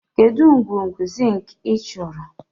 Kedu ngwugwu zink ị chọrọ?